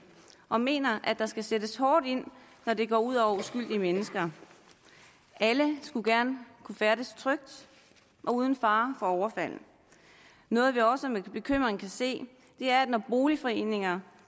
og mener at der skal sættes hårdt ind når det går ud over uskyldige mennesker alle skulle gerne kunne færdes trygt og uden fare for overfald noget vi også med bekymring er når boligforeninger